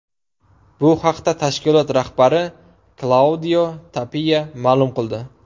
Bu haqda tashkilot rahbari Klaudio Tapiya ma’lum qildi.